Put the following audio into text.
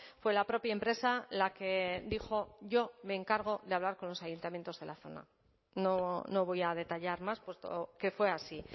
fue la propia empresa la que dijo yo me encargo de hablar con los ayuntamientos de la zona no voy a detallar más puesto que fue así